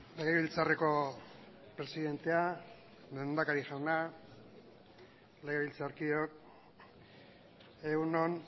legebiltzarreko presidentea lehendakari jauna legebiltzarkideok egun on